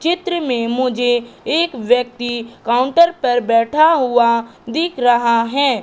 चित्र में मुझे एक व्यक्ति काउंटर पर बैठा हुआ दिख रहा है।